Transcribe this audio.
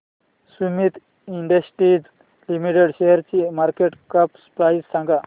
Sumeet Industries Limited शेअरची market cap price सांगा